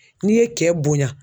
N'i ye kɛ bonya